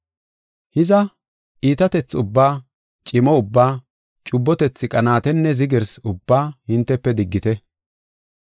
Hiza, iitatethi ubbaa, cimo ubbaa, cubbotethi qanaatenne zigirsi ubbaa hintefe diggite.